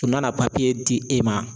U nana di e ma